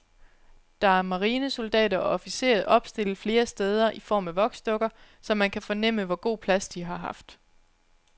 Der er marinesoldater og officerer opstillet flere steder i form af voksdukker, så man kan fornemme, hvor god plads de har haft.